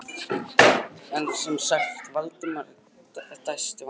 En sem sagt- sagði Valdimar og dæsti af vanþóknun.